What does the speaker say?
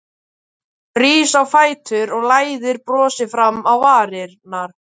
Hann rís á fætur og læðir brosi fram á varirnar.